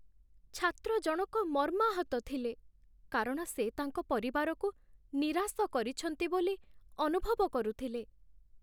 ଛାତ୍ର ଜଣକ ମର୍ମାହତ ଥିଲେ କାରଣ ସେ ତାଙ୍କ ପରିବାରକୁ ନିରାଶ କରିଛନ୍ତି ବୋଲି ଅନୁଭବ କରୁଥିଲେ ।